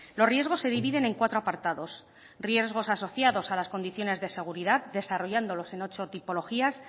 los riesgos se dividen en cuatro apartados riesgos asociados a las condiciones de seguridad desarrollándolos en ocho tipologías